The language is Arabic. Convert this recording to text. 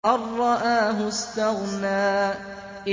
أَن رَّآهُ اسْتَغْنَىٰ